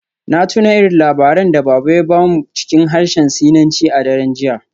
Na tuna irin labaran da Baba ya ba mu cikin harshen Sinanci a daren jiya.